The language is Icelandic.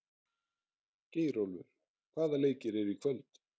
Geirólfur, hvaða leikir eru í kvöld?